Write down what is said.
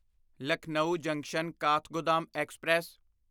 Lucknow junction Kathgodam express